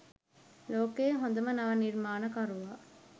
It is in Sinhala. ලෝකයේ හොඳම නව නිර්මාණකරුවා